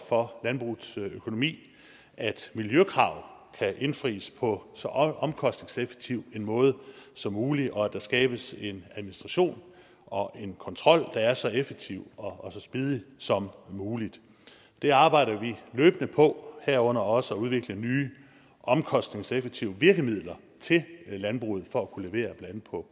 for landbrugets økonomi at miljøkrav kan indfries på så omkostningseffektiv en måde som muligt og at der skabes en administration og en kontrol der er så effektiv og så smidig som muligt det arbejder vi løbende på herunder også på at udvikle nye omkostningseffektive virkemidler til landbruget for at kunne levere